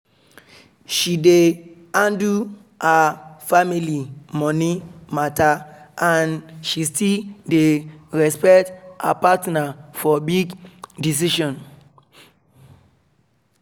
she dey handle her family money matter and she still dey respect her partner for big decision